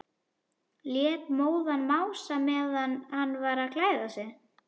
Lét móðan mása meðan hann var að klæða sig.